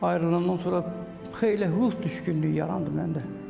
Ayrılandan sonra xeyli ruh düşkünlüyü yarandı məndə.